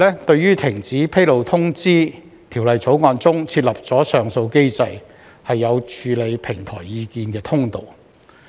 對於停止披露通知，《條例草案》中設立上訴機制，有處理平台意見的通道。